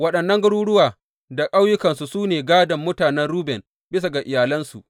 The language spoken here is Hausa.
Waɗannan garuruwa da ƙauyukansu su ne gādon mutanen Ruben, bisa ga iyalansu.